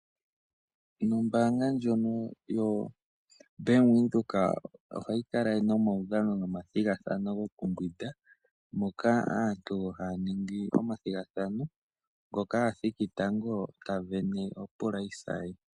Nombaanga ndjono yoBank Windhoek ohayi kala nomaudhano nomathigathano gokumbwinda, moka aantu haya ningi omathigathano, ngoka a thiki tango ta sindana epapa lye.